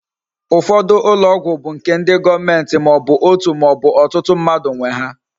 Ufodu ulo ogwu bu nke ndi goomenti ma obu otu ma obu otutu mmadu nwe ha